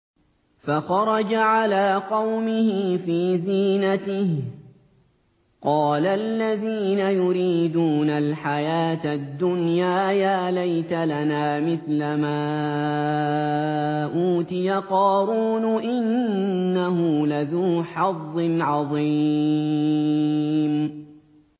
فَخَرَجَ عَلَىٰ قَوْمِهِ فِي زِينَتِهِ ۖ قَالَ الَّذِينَ يُرِيدُونَ الْحَيَاةَ الدُّنْيَا يَا لَيْتَ لَنَا مِثْلَ مَا أُوتِيَ قَارُونُ إِنَّهُ لَذُو حَظٍّ عَظِيمٍ